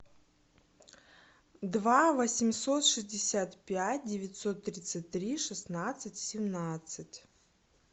два восемьсот шестьдесят пять девятьсот тридцать три шестнадцать семнадцать